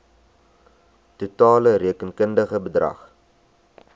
totale rekenkundige bedrag